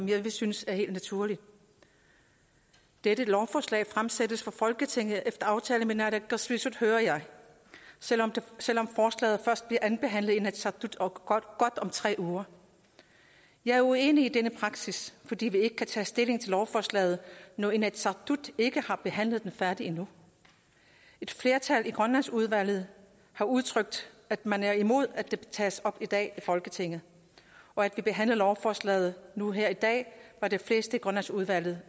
jeg synes er helt naturligt dette lovforslag fremsættes for folketinget efter aftale med naalakkersuisut hører jeg selv om forslaget først bliver andenbehandlet i inatsisartut om godt tre uger jeg er uenig i denne praksis fordi vi ikke kan tage stilling til lovforslaget når inatsisartut ikke har behandlet det færdigt endnu et flertal i grønlandsudvalget har udtrykt at man er imod at det tages op i dag i folketinget og at vi behandler lovforslaget nu her i dag var de fleste i grønlandsudvalget